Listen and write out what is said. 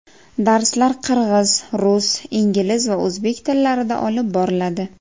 Darslar qirg‘iz, rus, ingliz va o‘zbek tillarida olib boriladi.